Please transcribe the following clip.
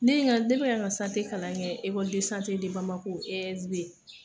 Ne ye n ka ne bɛ ka ni ka kalan kɛ ESB